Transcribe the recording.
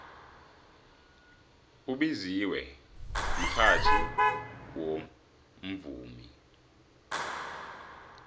ubiziwe mxhatjhi bewumvumi